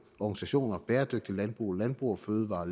organisationer som bæredygtigt landbrug landbrug fødevarer